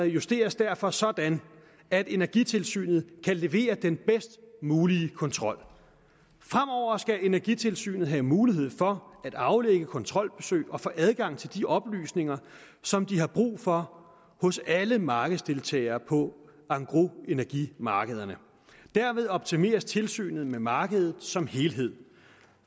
justeres derfor sådan at energitilsynet kan levere den bedst mulige kontrol fremover skal energitilsynet have mulighed for at aflægge kontrolbesøg og få adgang til de oplysninger som de har brug for hos alle markedsdeltagerne på engrosenergimarkederne derved optimeres tilsynet med markedet som helhed